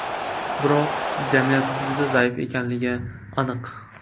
Biroq jamiyat juda zaif ekanligi aniq.